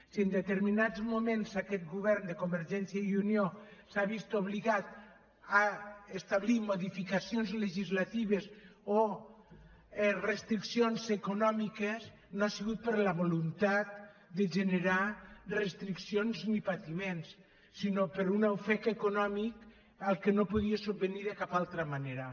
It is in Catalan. si en determinats moments aquest govern de convergència i unió s’ha vist obligat a establir modificacions legislatives o restriccions econòmiques no ha sigut per la voluntat de generar restriccions ni patiments sinó per un ofec econòmic a què no podia subvenir de cap altra manera